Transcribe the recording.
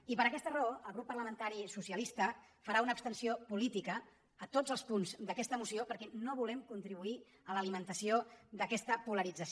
i per aquesta raó el grup parlamentari socialista farà una abstenció política a tots els punts d’aquesta moció perquè no volem contribuir a l’alimentació d’aquesta polarització